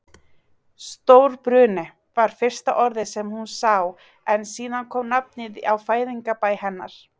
Stórbruni. var fyrsta orðið sem hún sá en síðan kom nafnið á fæðingarbæ hennar.